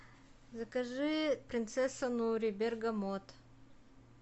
закажи принцесса нури бергамот